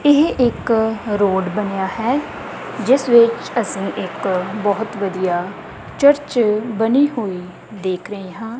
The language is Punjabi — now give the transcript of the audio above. ਇਹ ਇੱਕ ਰੋਡ ਬਣਿਆ ਹੈ ਜਿੱਸ ਵਿੱਚ ਅੱਸੀਂ ਇੱਕ ਬਹੁਤ ਵਧੀਆ ਚਰਚ ਬਨੀ ਹੋਈ ਦੇਖ ਰਹੇ ਹਾਂ।